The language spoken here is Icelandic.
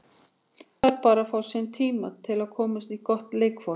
Hún þarf bara að fá sinn tíma til að komast í gott leikform.